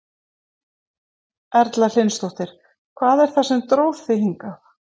Erla Hlynsdóttir: Hvað er það sem að dró þig hingað?